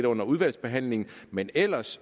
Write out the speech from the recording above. under udvalgsbehandlingen men ellers